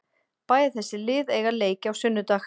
Bæði þessi lið eiga leiki á sunnudag.